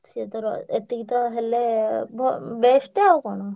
ଏତିକି ତ ହେଲେ ବ~ best ଆଉ କଣ।